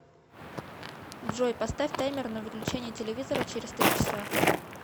джой поставь таймер на выключение телевизора через три часа